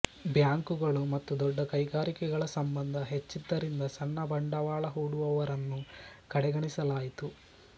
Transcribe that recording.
ಬ್ಯಾಂಕುಗಳು ಮತ್ತು ದೊಡ್ಡ ಕೈಗಾರಿಕೆಗಳ ಸಂಬಂಧ ಹೆಚ್ಚಿದ್ದರಿಂದ ಸಣ್ಣ ಬಂಡವಾಳ ಹೂಡುವವರನ್ನು ಕಡೆಗಣಿಸಲಾಯಿತು